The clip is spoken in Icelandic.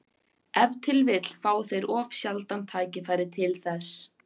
Ef til vill fá þeir of sjaldan tækifæri til þess.